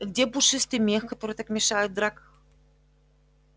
и где пушистый мех который так мешает в драках